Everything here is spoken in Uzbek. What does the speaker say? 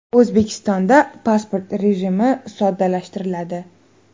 O‘zbekistonda pasport rejimi soddalashtiriladi .